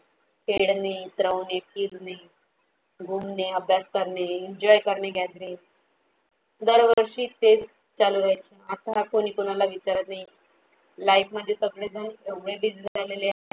खेडने, इतरवणे, फिरणे, घूमने, अभ्यास करणे, enjoy करणे, gathering दरवर्षी तेच चालू राहायचे. आता कोणी कोणाला विचारात नाही life मध्ये सगळे जण एवढे busy झालेले आहे